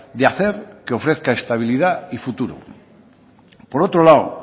de hacer que ofrezca estabilidad y futuro por otro lado